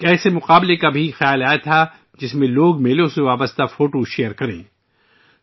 پھر ایک مقابلے کا خیال بھی ذہن میں آیا ، جس میں لوگ میلوں سے متعلق تصاویر شیئر کریں گے